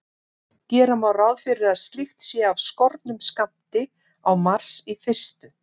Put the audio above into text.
Gera má ráð fyrir að slíkt sé af skornum skammti á Mars í fyrstu.